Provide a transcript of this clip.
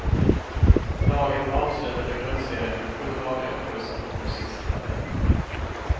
Laget avslutade grundserien med sju raka förluster och kom sist i tabellen.